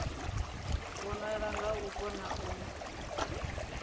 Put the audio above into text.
vhonala nga u kona u